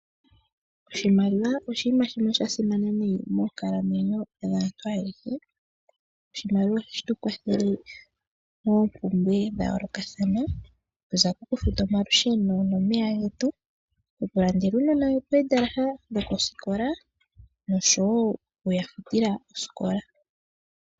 Oshimaliwa oshinima shimwe sha simana noonkondo moonkalamwenyo dhaantu ayehe. Oshimaliwa ohashi tu kwathele moompumbwe dha yoolokathana, okuza kokufuta omalusheno nomeya getu, okulandela uunona omizalo dhosikola noshowo okuya futila osikola.